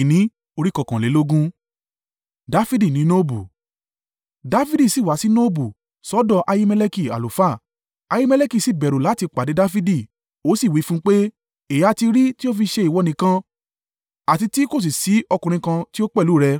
Dafidi sì wá sí Nobu sọ́dọ̀ Ahimeleki àlùfáà, Ahimeleki sì bẹ̀rù láti pàdé Dafidi, ó sì wí fún un pé, “Èéha ti rí tí o fi ṣe ìwọ nìkan, àti tí kò sì sí ọkùnrin kan tí ó pẹ̀lú rẹ?”